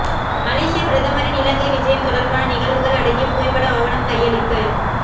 மலேசிய பிரதமரின் இலங்கை விஜயம் தொடர்பான நிகழ்வுகள் அடங்கிய புகைப்பட ஆவணம் கையளிப்பு